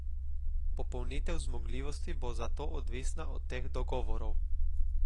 Popolnitev zmogljivosti bo zato odvisna od teh dogovorov.